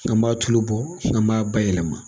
An b'a tulo bɔ, an b'a bayɛlɛma.